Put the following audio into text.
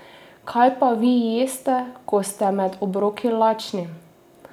Kaj pa vi jeste, ko ste med obroki lačni?